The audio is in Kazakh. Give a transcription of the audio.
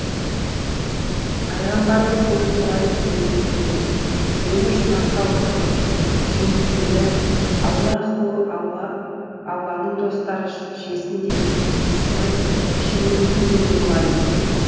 пайғамбарымыз оның былай дегенін естіді мені жұмаққа отырғыз жемісімді аллаһу алланың достары жесін және ескіріп шірімейтін жерде болайын